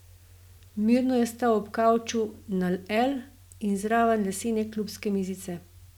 Mirno je stal ob kavču na L in zraven lesene klubske mizice.